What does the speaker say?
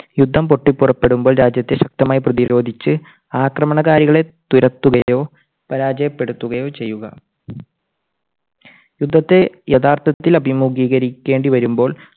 യുദ്ധം പൊട്ടിപ്പുറപ്പെട്ടപ്പോൾ രാജ്യത്തെ ശക്തമായി പ്രതിരോധിച്ച് ആക്രമണകാരികളെ തുരത്തുകയോ പരാജയപ്പെടുകയോ ചെയ്യുക. യുദ്ധത്തെ യഥാർത്ഥത്തിൽ അഭിമുഖീകരിക്കേണ്ടി വരുമ്പോൾ